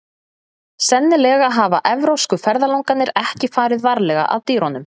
Sennilega hafa evrópsku ferðalangarnir ekki farið varlega að dýrunum.